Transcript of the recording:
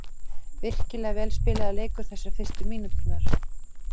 Virkilega vel spilaður leikur þessar fyrstu mínúturnar.